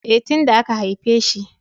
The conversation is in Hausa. E, tin da aka haifeshi.